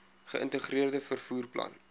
geïntegreerde vervoer plan